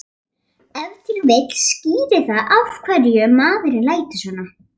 Ef til vill skýrir það af hverju maðurinn lætur svona.